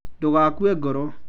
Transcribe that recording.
ndũgakue ngoro.